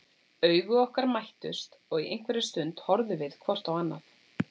Augu okkar mættust og í einhverja stund horfðum við hvort á annað.